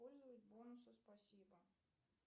использовать бонусы спасибо